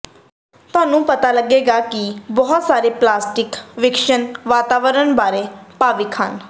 ਤੁਹਾਨੂੰ ਪਤਾ ਲੱਗੇਗਾ ਕਿ ਬਹੁਤ ਸਾਰੇ ਪ੍ਰੈਕਟਿਸ ਵਿਕਸ਼ਨ ਵਾਤਾਵਰਨ ਬਾਰੇ ਭਾਵੁਕ ਹਨ